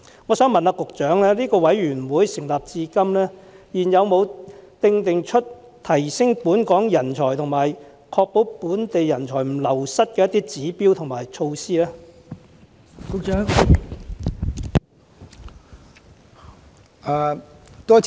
我想問局長，委員會成立至今，有否制訂出提升本港人才和確保本地人才不流失的指標和措施呢？